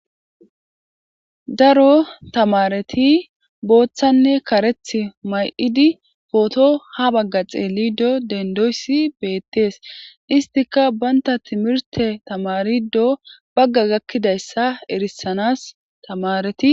Daro tamareti bothane karetha mayid poto ha Baga xelido dendoys betes, istika banta timirte tamarido Baga gakidaysa erisanas tamareti......